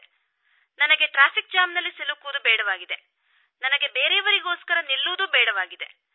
ನನಗೆ ಟ್ರಾಫಿಕ್ ಜಾಮ್ನಲ್ಲಿ ಸಿಲುಕುವುದು ಬೇಡವಾಗಿದೆ ನನಗೆ ಬೇರೆಯವರಿಗೋಸ್ಕರ ನಿಲ್ಲುವುದೂ ಬೇಡವಾಗಿದೆ